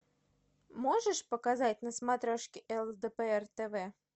можешь показать на смотрешке лдпр тв